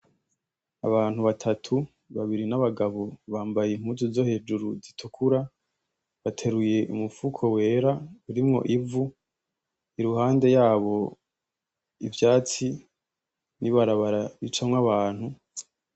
Abantu batatu babiri n'abagabo bambaye impuzu zo hejuru zi tukura bateruye umufuko wera urimwo ivu iruhande yabo ivyatsi n'ibarabara ricamwo abantu.